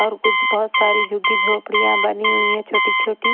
और कुछ बहोत सारी झुगी झोपड़ियां बनी हुई है छोटी छोटी--